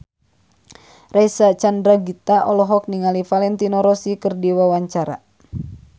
Reysa Chandragitta olohok ningali Valentino Rossi keur diwawancara